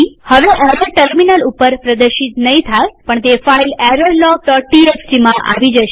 હવે error terminal ઉપર પ્રદર્શિત નહીં થાયપણ તે ફાઈલ errorlogtxtમાં આવી જશે